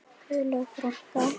Guðlaug frænka.